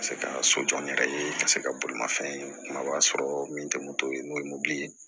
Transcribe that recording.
Ka se ka so jɔ n yɛrɛ ye ka se ka bolimafɛn sɔrɔ min tɛ moto ye n'o ye mobili ye